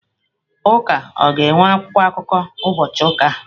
Ụka ọ ga-enwe akwụkwọ akụkọ ụbọchị ụka a?